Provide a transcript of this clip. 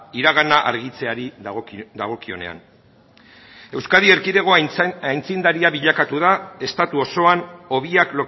iragana argitzeari dagokionean euskadi erkidegoa aitzindaria bilakatu da estatu osoan hobiak